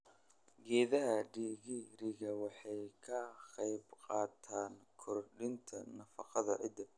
Geedaha digiriga waxay ka qaybqaataan kordhinta nafaqada ciidda.